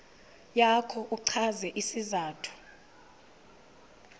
yakho uchaze isizathu